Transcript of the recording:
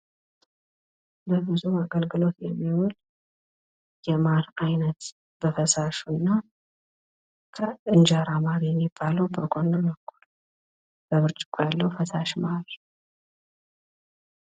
ለብዙ አገልግሎት የሚውል የማር አይነት በፈሳሹ እና ከእንጀራ ማር የሚባለው በጎን ነው። በብርጭቆ ያለው ፈሳሽ ማር።